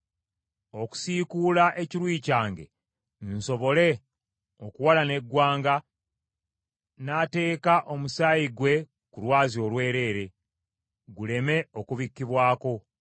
Okusiikula ekiruyi kyange nsobole okuwalana eggwanga n’ateeka omusaayi gwe ku lwazi olwereere, guleme okubikkibwako.